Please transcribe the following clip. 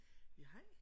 ***UF**